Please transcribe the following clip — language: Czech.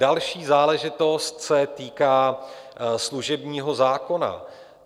Další záležitost se týká služebního zákona.